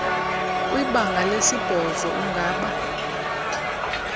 kwibanga lesibhozo ungaba